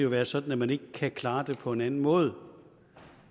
være sådan at man ikke kan klare det på en anden måde